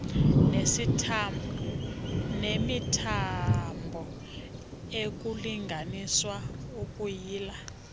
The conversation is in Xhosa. nemithambo ukulinganisa ukuyila